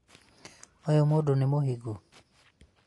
ũyũ mũndũ nĩ mũhiku?